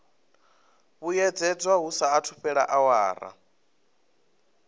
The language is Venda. vhuyedzedzwa hu saathu fhela awara